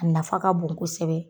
A nafa ka bon kosɛbɛ.